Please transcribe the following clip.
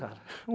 tá.